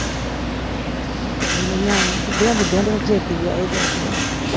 ਕੋਈ ਨੀ ਨਿਆਣੇ ਬੁਢਿਆਂ ਬੁਢਿਆਂ ਦੇ ਵੀ ਛੇਤੀ ਵਿਆਹੇ ਜਾਂਦੇ ਆ।